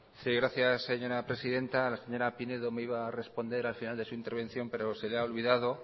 sí gracias señora presidenta la señora pinedo me iba a responder al final de su intervención pero se le ha olvidado